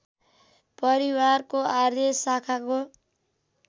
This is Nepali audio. परिवारको आर्य शाखाको